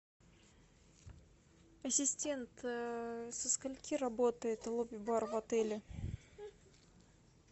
ассистент со скольки работает лобби бар в отеле